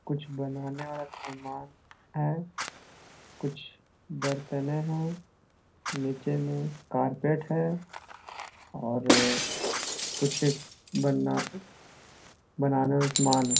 कुछ बनाने वाला समान है कुछ बरतने है नीचे में कारपेट है और अ कुछ बना बनाने में समान है।